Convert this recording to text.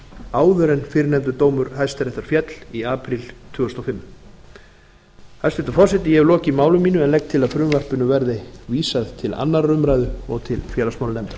áður en fyrrnefndur dómur hæstaréttar féll í apríl tvö þúsund og fimm hæstvirtur forseti ég hef lokið máli mínu en legg til að frumvarpinu verði vísað til annarrar umræðu og til félagsmálanefndar